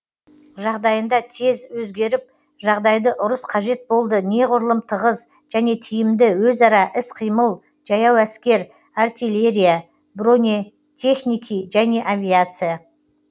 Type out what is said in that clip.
жағдайында тез өзгеріп жағдайды ұрыс қажет болды неғұрлым тығыз және тиімді өзара іс қимыл жаяу әскер артиллерия бронетехники және авиация